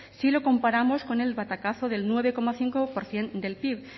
si lo comparamos con el batacazo del nueve coma cinco por ciento del pib